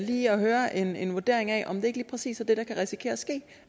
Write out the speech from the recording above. lige at høre en en vurdering af om det ikke lige præcis er det der kan risikere